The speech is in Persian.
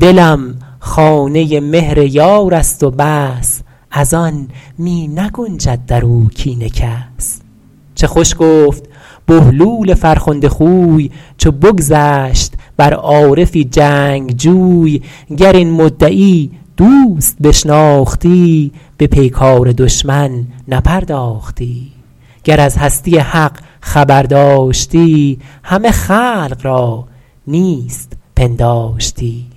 دلم خانه ی مهر یار است و بس از آن می نگنجد در او کین کس چه خوش گفت بهلول فرخنده خوی چو بگذشت بر عارفی جنگجوی گر این مدعی دوست بشناختی به پیکار دشمن نپرداختی گر از هستی حق خبر داشتی همه خلق را نیست پنداشتی